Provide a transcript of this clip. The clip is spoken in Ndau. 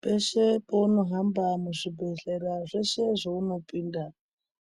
Peshe pounohamba muzvibhedhlera zveshe zveunopinda